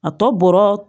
A tɔ bɔra